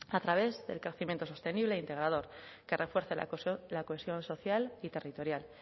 a través del crecimiento sostenible e integrador que refuerce la cohesión social y territorial